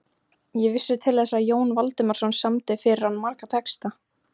Ég vissi til þess að Jón Valdimarsson samdi fyrir hann marga texta.